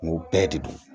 Mun bɛɛ de don